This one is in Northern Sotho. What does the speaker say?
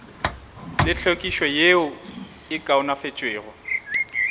le tlhwekišo yeo e kaonafaditšwego